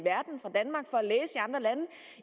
andre lande